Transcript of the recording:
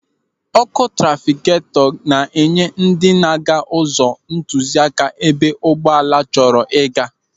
Ọ́kụ́ trafịketọ na-enye ndị na-aga ụzọ ntụziaka ebe ụgbọala chọrọ ịga.